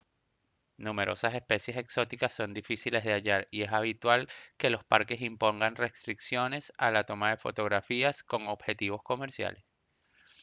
numerosas especies exóticas son difíciles de hallar y es habitual que los parques impongan restricciones a la toma de fotografías con objetivos comerciales